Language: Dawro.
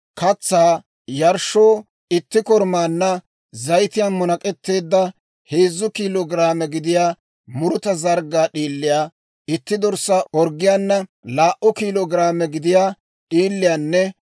Katsaa yarshshoo itti korumaanna zayitiyaan munak'etteedda heezzu kiilo giraame gidiyaa muruta zarggaa d'iiliyaa, itti dorssaa orggiyaana laa"u kiilo giraame gidiyaa d'iiliyaanne